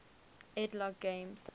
ed logg games